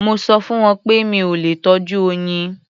Mo sọ fún wọn pé mi ò lè tọ́jú oyin.